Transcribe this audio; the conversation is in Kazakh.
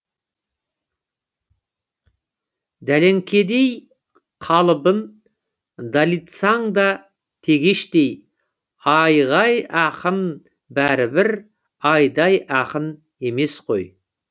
дәлеңкедей қалыбын далитсаң да тегештей айғай ақын бәрібір айдай ақын емес қой